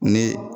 Ni